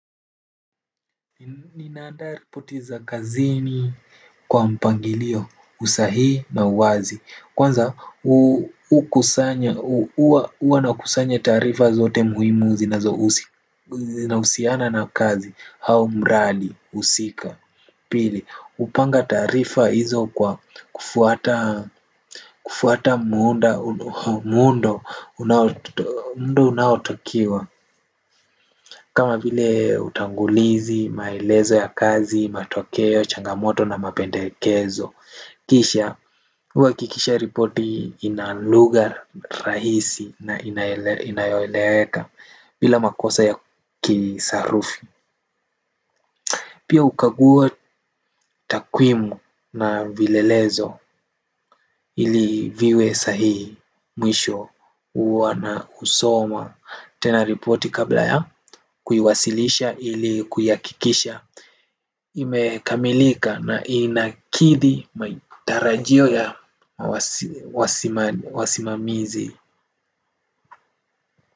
Ninaandaa ripoti za kazini kwa mpangilio usahi na uwazi. Kwanza u kusanya uwa uwa na kusanya tarifa zote muhimu zinazo usiana na kazi hau mradi usika. Pili upanga taarifa hizo kwa kufuata muundo unaotokiwa kama vile utangulizi, maelezo ya kazi, matokeo, changamoto na mapendekezo. Kisha, huwakikisha ripoti inaluga rahisi na inayoeleweka bila makosa ya kisarufi. Pia ukaguwa takwimu na vilelezo ili viwe sahihi mwishu huwa na usoma. Tena ripoti kabla ya kuiwasilisha ili kuyakikisha imekamilika na inakidi matarajio ya wasimamizi.